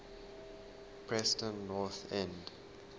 preston north end